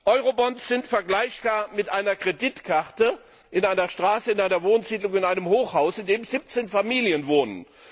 Eurobonds sind vergleichbar mit einer Kreditkarte in einer Straße, in einer Wohnsiedlung, in einem Hochhaus, wo 17 Familien wohnen.